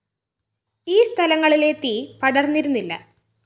ഈ സ്ഥലങ്ങളിലെ തീ പടര്‍ന്നിരുന്നില്ല